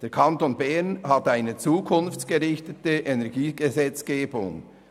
Der Kanton Bern hat eine zukunftsgerichtete Energiegesetzgebung.